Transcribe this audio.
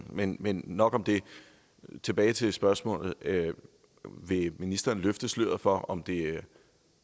men men nok om det tilbage til spørgsmålet vil ministeren løfte sløret for om det er